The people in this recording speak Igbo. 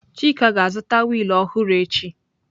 Chika ga-azụta wiil ọhụrụ echi.